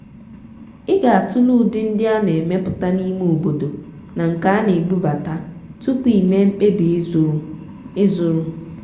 ị ga-atụle ụdị ndị a na-emepụta n'ime obodo na nke a na-ebubata tupu ịme mkpebi ịzụrụ. ịzụrụ.